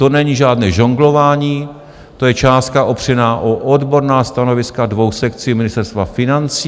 To není žádné žonglování, to je částka opřená o odborná stanoviska dvou sekcí Ministerstva financí.